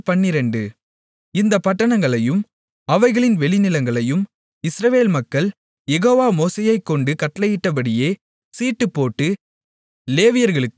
இந்தப் பட்டணங்களையும் அவைகளின் வெளிநிலங்களையும் இஸ்ரவேல் மக்கள் யெகோவா மோசேயைக்கொண்டு கட்டளையிட்டபடியே சீட்டுப்போட்டு லேவியர்களுக்குக் கொடுத்தார்கள்